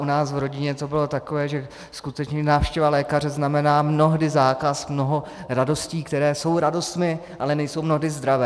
U nás v rodině to bylo takové, že skutečně návštěva lékaře znamená mnohdy zákaz mnoha radostí, které jsou radostmi, ale nejsou mnohdy zdravé.